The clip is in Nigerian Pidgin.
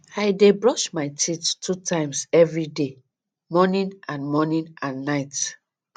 i dey brush my teeth two times every day morning and morning and night